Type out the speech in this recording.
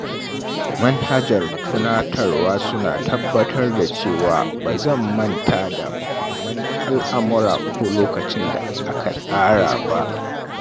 Manhajar tunatarwa suna tabbatar da cewa ba zan manta da mahimman al’amura ko lokacin da aka tsara ba.